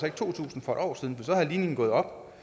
ikke to tusind for et år siden for var ligningen gået op